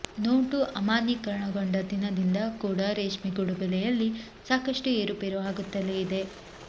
note ಅಮಾನ್ಯಿಕರಣಗೊಂಡ ದಿನದಿಂದ ಕೂಡ ರೇಷ್ಮೆಗೂಡು ಬೆಲೆಯಲ್ಲಿ ಸಾಕಷ್ಟು ಏರುಪೇರು ಆಗುತ್ತಲೇ ಇದೆ